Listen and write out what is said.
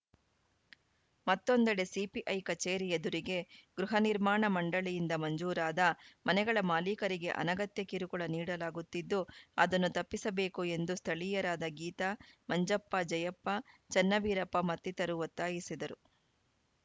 ಮತ್ತೊಂದೆಡೆ ಸಿಪಿಐ ಕಚೇರಿ ಎದುರಿಗೆ ಗೃಹ ನಿರ್ಮಾಣ ಮಂಡಳಿಯಿಂದ ಮಂಜೂರಾದ ಮನೆಗಳ ಮಾಲೀಕರಿಗೆ ಅನಗತ್ಯ ಕಿರುಕುಳ ನೀಡಲಾಗುತ್ತಿದ್ದು ಅದನ್ನು ತಪ್ಪಿಸಬೇಕು ಎಂದು ಸ್ಥಳೀಯರಾದ ಗೀತಾ ಮಂಜಪ್ಪ ಜಯಪ್ಪ ಚನ್ನವೀರಪ್ಪ ಮತ್ತಿತರರು ಒತ್ತಾಯಿಸಿದರು